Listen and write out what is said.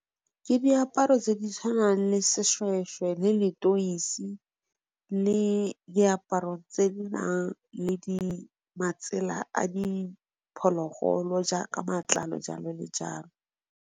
Ke diaparo tse di tshwanang le sešhwešhwe, le letoisi, le diaparo tse di nang le matsela a di phologolo jaaka matlalo jalo le jalo.